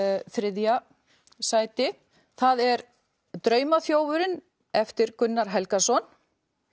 þriðja sæti það er eftir Gunnar Helgason